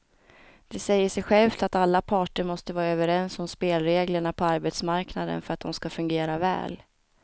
Det säger sig självt att alla parter måste vara överens om spelreglerna på arbetsmarknaden för att de ska fungera väl.